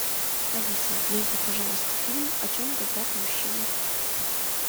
алиса найди пожалуйста фильм о чем говорят мужчины